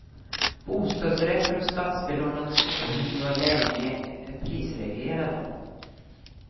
Bostadsrätter och statsbelånade småhus var länge prisreglerade.